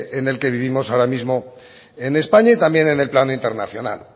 en el que vivimos ahora mismo en españa y también en el plano internacional